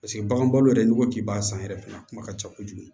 Paseke bagan balo yɛrɛ n'i ko k'i b'a san yɛrɛ fɛnɛ a kuma ka ca kojugu